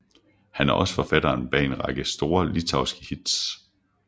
Han er også forfatteren bag en række store litauiske hits